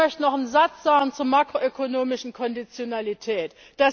Ich möchte noch einen Satz zur makroökonomischen Konditionalität sagen.